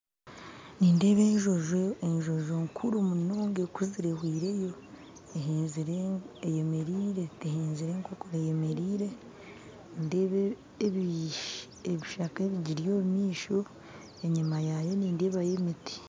Nindeba enjojo enjojo nkuru munonga ekuzire ehwireyo eyemerire tehenzire enkokora eyemerire, nindeeba ebishaka ebigiri omu maisho, enyima yaayo nindebayo emiti